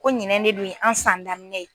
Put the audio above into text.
Ko ɲinɛ ne bi an san daminɛ ye.